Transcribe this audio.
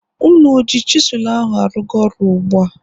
Ụnụ oji chisụlụ ahụ arụga ọrụ ugbua?